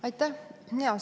Aitäh!